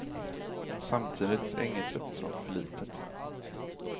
Samtidigt är inget uppdrag för litet.